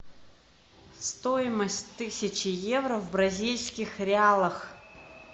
стоимость тысячи евро в бразильских реалах